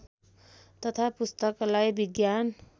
तथा पुस्तकालय विज्ञान